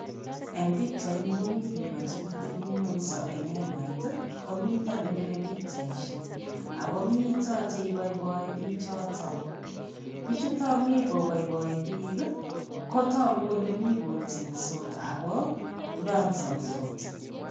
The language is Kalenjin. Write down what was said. Eng pikchaini komi biiko che kitepingwongso eng hemait, komito nepire pichaisiek akomito che iboiboi biichoto. Biichuto mi kobaibai biik kotoku kole mi kotiensot ako mi kodansansot.